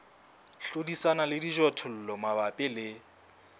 hlodisana le dijothollo mabapi le